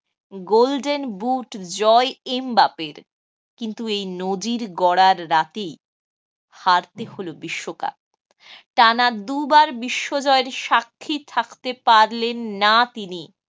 golden boot জয় এমবাপের। কিন্তু এই নজির গড়ার রাতেই হারতে হল বিশ্বকাপ। টানা দুবার বিশ্ব জয়ের সাক্ষী থাকতে পারলেন না তিনি।